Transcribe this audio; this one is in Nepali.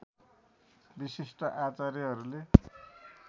विशिष्ट आचार्यहरूले